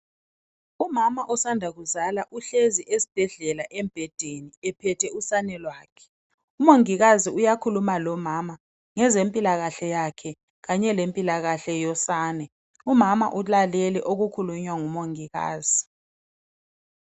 Umama osanda kuzala uhlezi esibhedlela embhedeni ephethe usane lwakhe. Umongikazi uyakhululuma lomama, ngezempilakahle yakhe, kanye lempilakahle yosane. Umama ulalele okukhulunywa ngumongikazi.